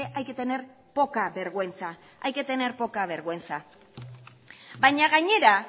hay que tener poca vergüenza hay que tener poca vergüenza baina gainera